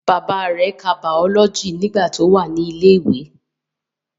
Bàbá rẹ̀ ka bàọ́lọ́jì nígbà tí ó wà ní ilẹ̀ ìwé